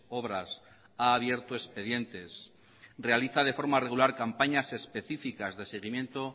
obras ha abierto expedientes realiza de forma regular campañas especificas de seguimiento